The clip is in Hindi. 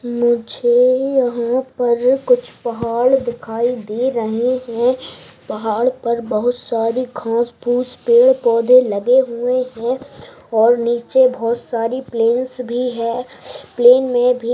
मुझे यहाँ पर कुछ पहाड़ दिखाई दे रहे है पहाड़ पर बहुत सारी घास फुश पेड़ पौधे लगे हुए है और नीचे बहुत सारी प्लेस भी है प्लान में भी--